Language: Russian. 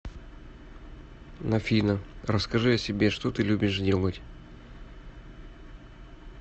афина расскажи о себе что ты любишь делать